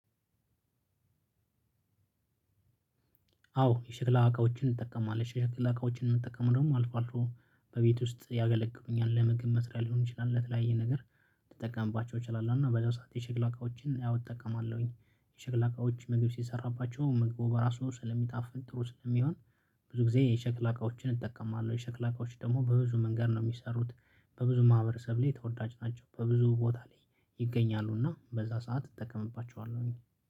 አዎ የሸክላ አቃዎችን እንጠቀማለን ሸክላ እቃዎችን ምንጠቀመው ደግሞ አልፎ አልፎ ነው በቤት ውስጥ ያገለግሉኛል ለምግብ መስሪያ ሊሆን ይችላል ለተለያየ ነገር ልጠቀምባቸው እችላለሁ። እና በዛው ሰዓት የሸክላ እቃዎችን ያው እጠቀማለሁኝ የሸክላ እቃዎችን ምግብ ሲሰራባቸው ምግቡ በራሱ ስለሚጣፍጥ ጥሩ ስለሚሆን ብዙ ጊዜ የሸክላ እቃዎችን እጠቀማለሁ። የሸክላ እቃዎች ደግሞ በብዙ መንገድ ነው የሚሰሩት በብዙ ማህበረሰብ ላይ ተወዳጅ ናቸው። በብዙ ቦታ ላይ ይገኛሉና በዛ ሰዓት እጠቀምባቸዋለሁኝ